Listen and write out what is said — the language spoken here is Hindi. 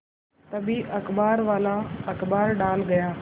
तभी अखबारवाला अखबार डाल गया